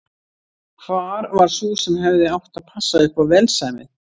Hvar var sú sem hefði átt að passa upp á velsæmið?